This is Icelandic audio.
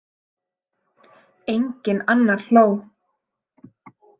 Enginn annar hló.